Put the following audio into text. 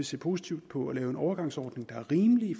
se positivt på at lave en overgangsordning der er rimelig i